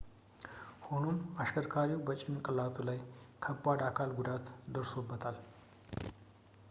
ሆኖም አሽከርካሪው በጭንቅላቱ ላይ ከባድ የአካል ጉዳት ደርሶበታል